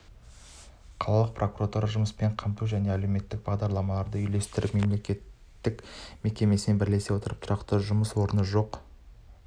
қалалық прокуратура жұмыспен қамту және әлеуметтік бағдарламаларды үйлестіру мемлекеттік мекемесімен бірлесе отырып тұрақты жұмыс орны жоқ